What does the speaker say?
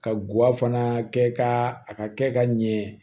Ka guwafan kɛ ka a ka kɛ ka ɲɛ